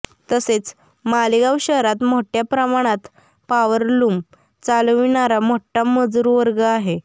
तसेच मालेगाव शहरात मोठ्या प्रमाणात पावरलूम चालविणारा मोठा मजूरवर्ग आहे